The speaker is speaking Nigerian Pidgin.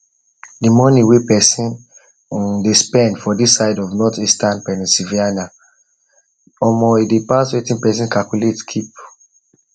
the money wey person dey spend for this side of northeastern pennsylvania omo e dey pass wetin person calculate keep